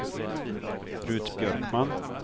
Rut Björkman